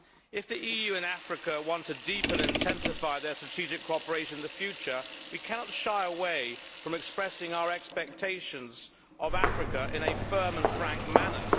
If the EU and Africa want to deepen and intensify their strategic cooperation in the future, we cannot shy away from expressing our expectations of Africa in a firm and frank manner.